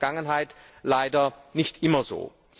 Das war in der Vergangenheit leider nicht immer so.